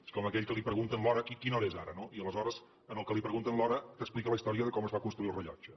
és com aquell que li pregunten l’hora quina hora és ara i aleshores al que li pregunten l’hora t’explica la història de com es va construir el rellotge